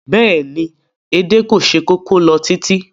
Bẹ́ẹ̀ni, edé kò se kókó lọ títí